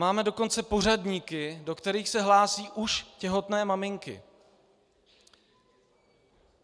Máme dokonce pořadníky, do kterých se hlásí už těhotné maminky.